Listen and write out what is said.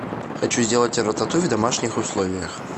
хочу сделать рататуй в домашних условиях